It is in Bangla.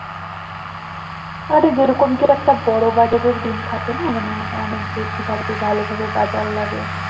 আরে যেরকম কি একটা বড়ো বাজারের দিন থাকে না মানে অনেক বেশি ভাবে ভালোভাবে বাজার লাগে